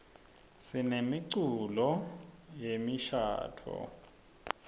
sinemiculo yemishadvo